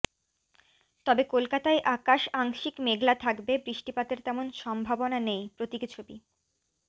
তবে কলকাতায় আকাশ আংশিক মেঘলা থাকবে বৃষ্টিপাতের তেমন সম্ভাবনা নেই প্রতীকী ছবি